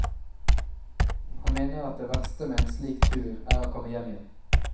Han mener at det verste med en slik tur er å komme hjem igjen.